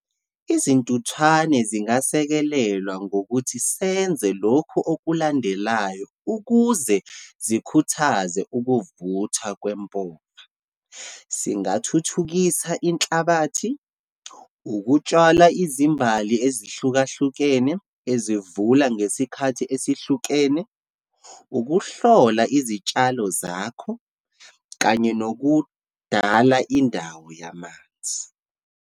Izintuthwane zingasekelelwa ngokuthi senze lokhu okulandelayo ukuze zikhuthaze ukuvuthwa kwempova. Singathuthukisa inhlabathi, ukutshala izimbali ezihlukahlukene, ezivula ngesikhathi esihlukene, ukuhlola izitshalo zakho, kanye nokudala indawo yamanzi.